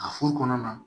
A furu kɔnɔna na